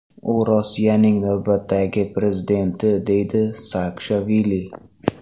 U Rossiyaning navbatdagi prezidenti”, deydi Saakashvili.